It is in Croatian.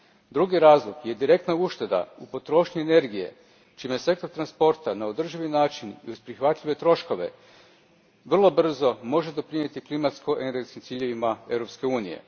Drugi razlog je direktna ušteda u potrošnji energije čime sektor transporta na održivi način i uz prihvatljive troškove vrlo brzo može doprinijeti klimatsko energetskim ciljevima Europske unije.